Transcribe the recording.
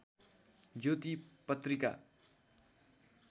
ज्योति पत्रिका